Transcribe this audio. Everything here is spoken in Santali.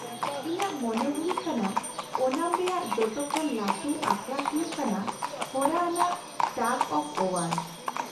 ᱤᱧᱟᱹᱜ ᱢᱚᱱᱮ ᱦᱩᱭᱩᱜ ᱠᱟᱱᱟ ᱳᱱᱟᱢ ᱨᱮᱭᱟᱜ ᱡᱚᱛᱚ ᱠᱷᱚᱱ ᱞᱟᱹᱴᱩ ᱟᱠᱷᱲᱟ ᱦᱩᱭᱩᱜ ᱠᱟᱱᱟ ᱦᱚᱨᱟ ᱟᱱᱟᱜ ᱴᱟᱜᱽ ᱚᱯᱷ ᱳᱣᱟᱨ ᱾